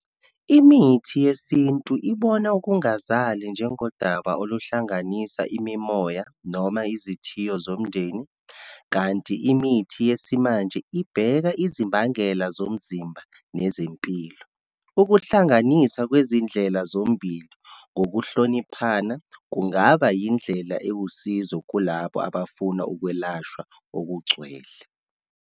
Imithi yesintu, ibona okungazali njengodaba oluhlanganisa imimoya, noma izithiyo zomndeni. Kanti imithi yesimanje ibheka izimbangela zomzimba nezempilo. Ukuhlanganisa kwezindlela zombili ngokuhloniphana, kungaba yindlela ewusizo kulabo abafuna ukwelashwa okugcwele.